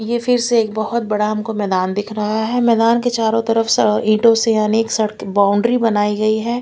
ये फिर से एक बहोत बडा हमको मैदान दिख रहा है मैदान के चारो तरफ से ईंटो से यानी स बाउंड्री बनाई गई है।